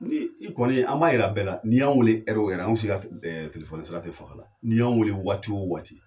Ni i kɔni an b'a yira bɛɛ la ni y'an wele o an si ka telefɔni sira tɛ faga la ni y'an weele waati o waati.